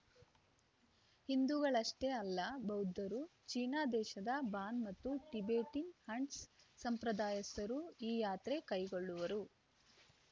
ಹಿಂದೂಗಳಷ್ಟೇ ಅಲ್ಲ ಬೌದ್ಧರು ಚೀನಾ ದೇಶದ ಬಾನ್‌ ಮತ್ತು ಟಿಬೆಟಿನ ಹಂಟ್ಸ್‌ ಸಂಪ್ರದಾಯಸ್ಥರೂ ಈ ಯಾತ್ರೆ ಕೈಗೊಳ್ಳುವರು